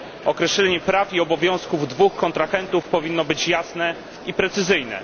Określenie praw i obowiązków dwóch kontrahentów powinno być jasne i precyzyjne.